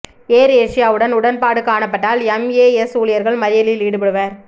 ஏர் ஏசியாவுடன் உடன்பாடு காணப்பட்டால் எம்ஏஎஸ் ஊழியர்கள் மறியலில் ஈடுபடுவர்